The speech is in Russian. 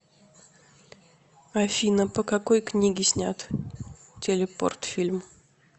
афина по какои книге снят телепорт фильм